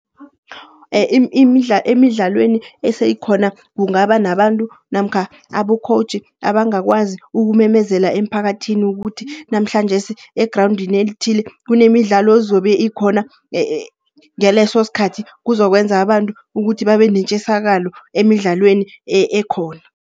Emidlalweni eseyikhona, kungaba nabantu namkha abo-coach abangakwazi ukumemezela emphakathini ukuthi, namhlanjesi egrawundini elithile kunemidlalo ezobe ikhona. Ngaleso skhathi kuzokwenza abantu ukuthi babe netjisakalo emidlalweni ekhona.